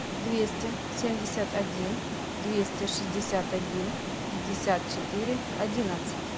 двести семьдесят один двести шестьдесят один пятьдесят четыре одиннадцать